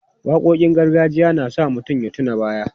Waƙoƙin gargajiya na sa mutum ya tuna baya.